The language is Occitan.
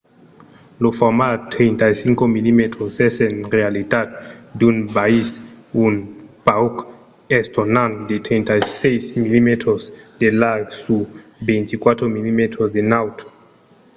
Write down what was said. lo format 35 mm es en realitat d'un biais un pauc estonant de 36 mm de larg sur 24 mm de naut